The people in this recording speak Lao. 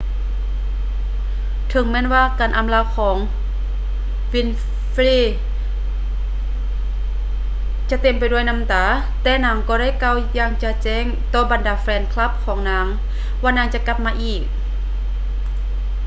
ເຖິງແມ່ນວ່າ ໃນການອຳລາຂອງ winfrey ຈະເຕັມໄປດ້ວຍນ້ຳຕາ ແຕ່ນາງກໍໄດ້ກ່າວຢ່າງຈະແຈ້ງຕໍ່ບັນດາແຟນຄລັບຂອງນາງວ່ານາງຈະກັບມາອີກ